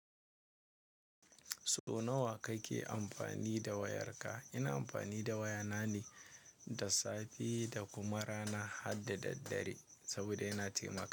So nawa kake amfani da wayarka? Ina amfani da wayana ne da safe da kuma rana har da daddare saboda yana taimaka.